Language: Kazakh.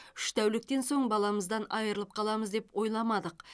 үш тәуліктен соң баламыздан айырылып қаламыз деп ойламадық